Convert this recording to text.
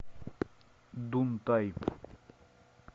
дунтай